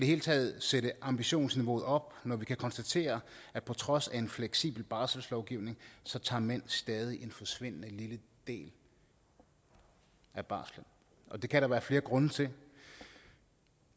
hele taget sætte ambitionsniveauet op når vi kan konstatere at på trods af en fleksibel barselslovgivning tager mænd stadig en forsvindende lille del af barslen og det kan der være flere grunde til